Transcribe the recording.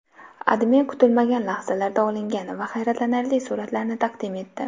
AdMe kutilmagan lahzalarda olingan va hayratlanarli suratlarni taqdim etdi .